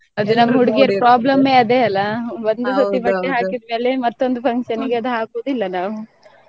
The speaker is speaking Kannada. ಅದೆ ನಮ್ಮ ಹುಡ್ಗಿರ್ problem ಏ ಅದೇ ಅಲ್ಲಾ . ಹಾಕಿದ್ ಮೇಲೆ ಮತ್ತೊಂದು function ಗೆ ಅದು ಹಾಕುದಿಲ್ಲ ನಾವು.